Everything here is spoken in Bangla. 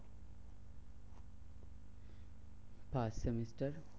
First semester